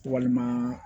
Walima